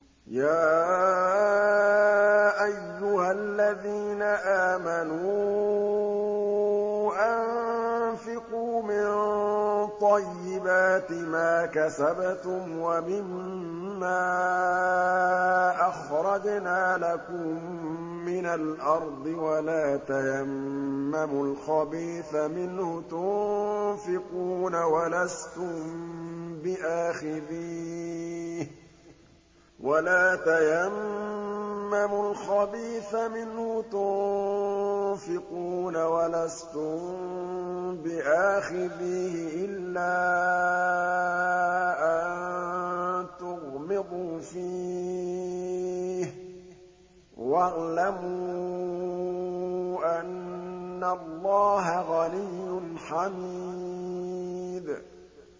يَا أَيُّهَا الَّذِينَ آمَنُوا أَنفِقُوا مِن طَيِّبَاتِ مَا كَسَبْتُمْ وَمِمَّا أَخْرَجْنَا لَكُم مِّنَ الْأَرْضِ ۖ وَلَا تَيَمَّمُوا الْخَبِيثَ مِنْهُ تُنفِقُونَ وَلَسْتُم بِآخِذِيهِ إِلَّا أَن تُغْمِضُوا فِيهِ ۚ وَاعْلَمُوا أَنَّ اللَّهَ غَنِيٌّ حَمِيدٌ